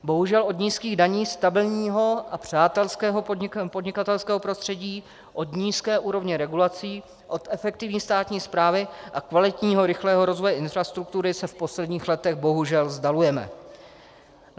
Bohužel od nízkých daní, stabilního a přátelského podnikatelského prostředí, od nízké úrovně regulací, od efektivní státní správy a kvalitního, rychlého rozvoje infrastruktury se v posledních letech bohužel vzdalujeme.